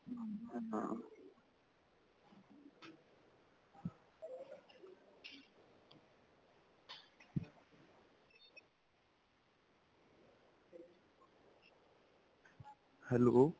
hello.